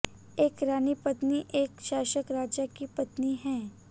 एक रानी पत्नी एक शासक राजा की पत्नी है